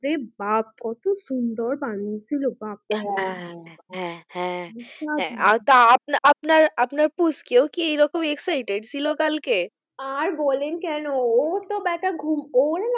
ওরে বাপ্ কত সুন্দর বানিয়েছিল বাবা হ্যাঁ হ্যাঁ হ্যাঁ হ্যাঁ তা আপনা আপনার আপনার পুচকে ও কি রকম excited ছিল কালকে আর বলেন কেন তো ব্যাটা ঘুম ওর না,